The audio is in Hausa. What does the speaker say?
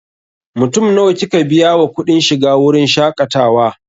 Mutum nawa kika biya wa kuɗin shiga wurin shaƙatawa?